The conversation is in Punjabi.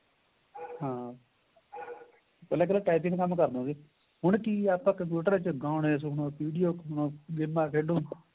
ਹਾਂ ਪਹਿਲਾਂ typing ਦਾ ਕੰਮ ਕਰਦੇ ਹੁੰਦੇ ਸੀ ਹੁਣ ਕਿ ਏਹ ਆਪਾਂ computer ਚ ਗਾਣੇ ਸੁਣ PDF ਬਣਾ ਗੇਮਾਂ ਖੇਡੋ